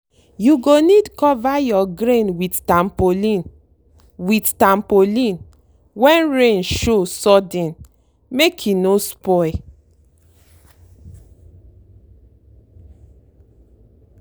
you go need cover your grain with tarpaulin with tarpaulin when rain show sudden make e no spoil.